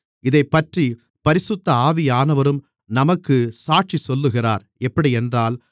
இதைப்பற்றி பரிசுத்த ஆவியானவரும் நமக்குச் சாட்சிச்சொல்லுகிறார் எப்படியென்றால்